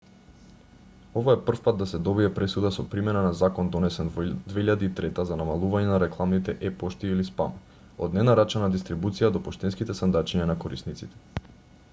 ова е прв пат да се добие пресуда со примена на закон донесен во 2003 за намалување на рекламните е-пошти или спам од ненарачана дистрибуција до поштенските сандачиња на корисниците